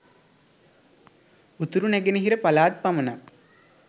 උතුර නැගෙනහිර පළාත් පමණක්